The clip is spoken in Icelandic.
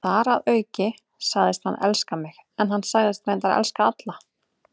Þar að auki sagðist hann elska mig, en hann sagðist reyndar elska alla.